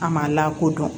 A ma lakodɔn